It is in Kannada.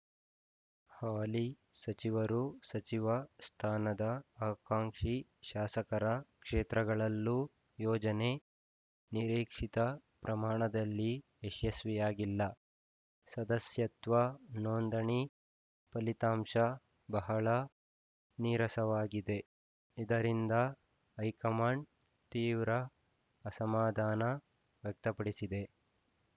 ಹಾಲಿ ಸಚಿವರು ಸಚಿವ ಸ್ಥಾನದ ಆಕಾಂಕ್ಷಿ ಶಾಸಕರ ಕ್ಷೇತ್ರಗಳಲ್ಲೂ ಯೋಜನೆ ನಿರೀಕ್ಷಿತ ಪ್ರಮಾಣದಲ್ಲಿ ಯಶಸ್ವಿಯಾಗಿಲ್ಲ ಸದಸ್ಯತ್ವ ನೋಂದಣಿ ಫಲಿತಾಂಶ ಬಹಳ ನೀರಸವಾಗಿದೆ ಇದರಿಂದ ಹೈಕಮಾಂಡ್‌ ತೀವ್ರ ಅಸಮಾಧಾನ ವ್ಯಕ್ತಪಡಿಸಿದೆ